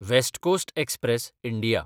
west Coast Express (India)